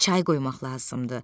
Çay qoymaq lazımdır.